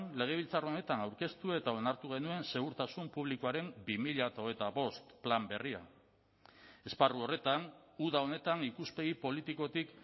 legebiltzar honetan aurkeztu eta onartu genuen segurtasun publikoaren bi mila hogeita bost plan berria esparru horretan uda honetan ikuspegi politikotik